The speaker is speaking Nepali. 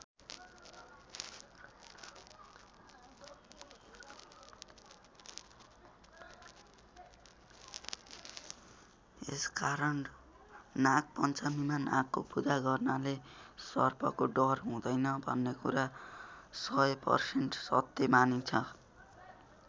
यस कारण नाग पञ्चमीमा नागको पूजा गर्नाले सर्पको डर हुँदैन भन्ने कुरा १००% सत्य मानिन्छ।